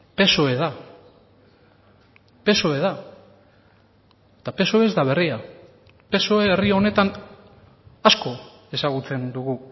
psoe da psoe da eta psoe ez da berria psoe herri honetan asko ezagutzen dugu